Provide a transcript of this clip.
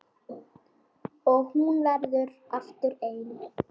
Og hún verður aftur ein.